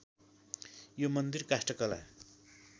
यो मन्दिर काष्ठकला